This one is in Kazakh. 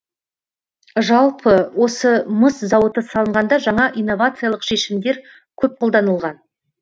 жалпы осы мыс зауыты салынғанда жаңа инновациялық шешімдер көп қолданылған